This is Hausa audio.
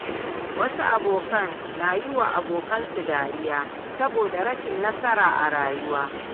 Wasu abokan na yiwa abokinsu dariya saboda rashin nasara a rayuwa.